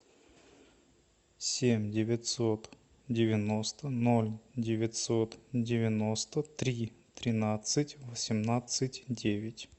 семь девятьсот девяносто ноль девятьсот девяносто три тринадцать восемнадцать девять